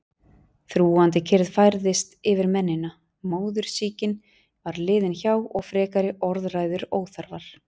Þrúgandi kyrrð færðist yfir mennina, móðursýkin var liðin hjá og frekari orðræður óþarfar.